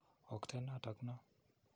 Okten notok no.